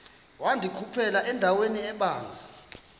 wandikhuphela endaweni ebanzi